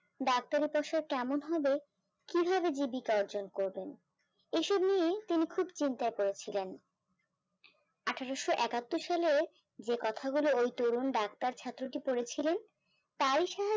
ডাক্তারের কাছে কেমন হবে কিভাবে জীবিকা অর্জন করবেন এসব নিয়ে তুমি খুব চিন্তা করেছিলেন আঠারোশো একাত্তর সালে যে কথাগুলো ওই তরুণ ডাক্তার ছাত্র কে পড়েছিলেন তাই